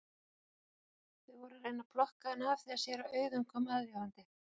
Þau voru að reyna að plokka hann af þegar séra Auðunn kom aðvífandi.